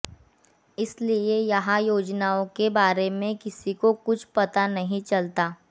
इसलिए यहां योजनाओं के बारे में किसी को कुछ पता नहीं चलता